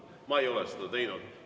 Ma ei ole seda teinud.